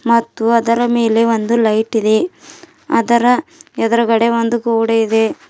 ಮತ್ತು ಅದರ ಮೇಲೆ ಒಂದು ಲೈಟಿದೆ ಅದರ ಎದುರುಗಡೆ ಒಂದು ಗೋಡೆಯಿದೆ.